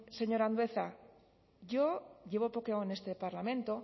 señor andueza yo llevo poco en este parlamento